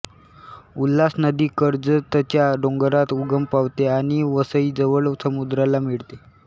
उल्हास नदी कर्जतच्या डोंगरात उगम पावते आणि वसईजवळ समुद्राला मिळते